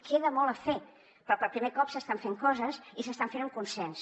queda molt a fer però per primer cop s’estan fent coses i s’estan fent amb consens